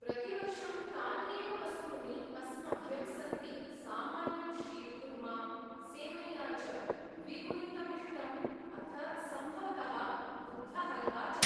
प्रतिवर्षं तानि एव वस्तूनि अस्मभ्यं सन्ति सामान्यं शीर्खुर्मा, सेवैयाँ च, द्विगुणितमिष्टम्, अथ सम्भवतः दुग्धहल्वा च।